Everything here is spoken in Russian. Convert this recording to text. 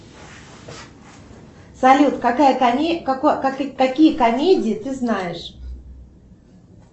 салют какие комедии ты знаешь